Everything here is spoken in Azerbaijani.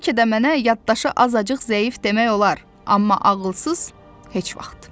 Bəlkə də mənə yaddaşı azacıq zəif demək olar, amma ağılsız heç vaxt.